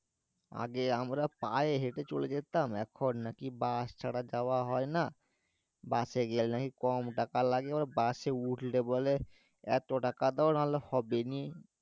আগে আমরা পায়ে হেটে চলে যেতাম এখন নাকি বাস ছাড়া যাওয়া হয়না বাসে গেলে নাকি কম টাকা লাগে মানে বাসে উঠলে বলে এতটাকা দাও না হলে হোবেনি